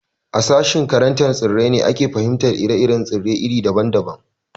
A sashen karantar tsirrai ne ake fahimtar ire-iren tsirrai iri daban daban